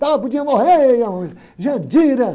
Pô, podia morrer.